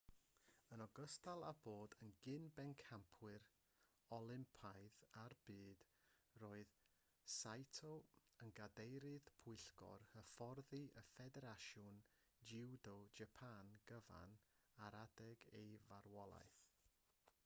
yn ogystal â bod yn gyn-bencampwr olympaidd a'r byd roedd saito yn gadeirydd pwyllgor hyfforddi ffederasiwn jiwdo japan gyfan ar adeg ei farwolaeth